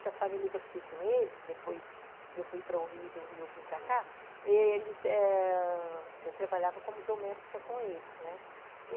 Essa família que eu fiquei com eles, depois eu fui para o Rio, do Rio eu vim para cá, eles, é... Eu trabalhava como doméstica com eles, né? Uhum.